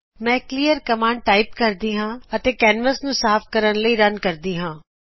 ਮੈਂ clear command type ਕਰਦੀ ਹਾਂਅਤੇ ਕੈਨਵਸ ਨੂੰ ਸਾਫ ਕਰਨ ਲਈ ਰਨ ਕਰਦੀ ਹਾਂ